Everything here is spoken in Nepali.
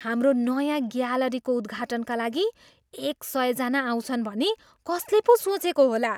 हाम्रो नयाँ ग्यालरीको उद्घाटनका लागि एक सयजना आउँछन् भनी कसले पो सोचेको होला?